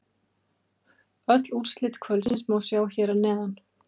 Öll úrslit kvöldsins má sjá hér að neðan